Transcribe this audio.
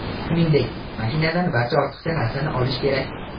Shuningdek, mashinadan barcha ortiqcha narsani olish kerak.